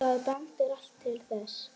Það bendir allt til þess.